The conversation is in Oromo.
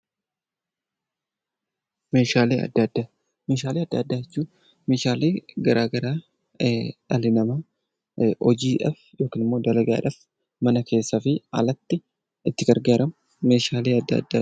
Meeshaalee addaa addaa Meeshaalee addaa addaa jechuun Meeshaalee garaagaraa dhalli namaa hojiidhaaf yookaan immoo dalagaadhaaf mana keessaa fi alatti itti gargaaramu Meeshaalee addaa addaa jedhama.